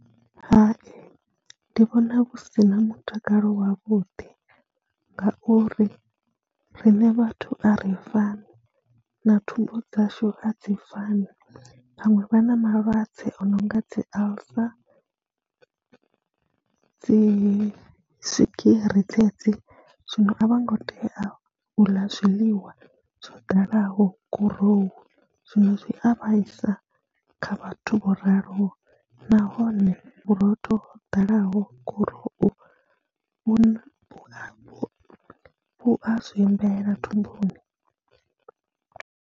Hai ndi vhona hu si na mutakalo wavhuḓi ngauri riṋe vhathu a r fani na thumbu dzashu a dzi fani, vhaṅwe vha na malwadze o no nga dzi alcer, dzi swigiri dzedzi, zwino a vho ngo tea u ḽa zwiḽiwa zwo dalaho gurowu, zwino zwi a vhaisa kha vhathu vho raloho nahone vhurotho ho ḓalaho gurowu vhu na, vhu a zwiimbela thumbuni.